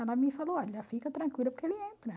Ela me falou, olha, fica tranquila porque ele entra.